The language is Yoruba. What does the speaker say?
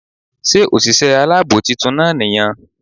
Sé òsìsé alábò titun náà ní yan